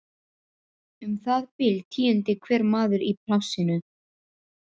Um það bil tíundi hver maður í plássinu.